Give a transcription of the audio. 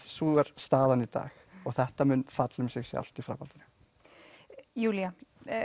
sú er staðan í dag þetta mun falla um sig sjálft í framhaldinu Júlía